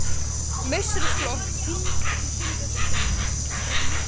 Í meistaraflokk Tindastóls Fyrirmynd?